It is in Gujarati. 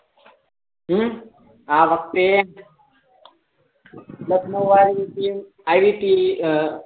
હમ આ વખતે લખનઉ વાળીટીમ આયી હતી અ